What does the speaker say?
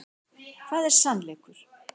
Hvað er sannleikur?